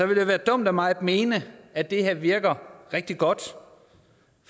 det være dumt af mig at mene at det her virker rigtig godt for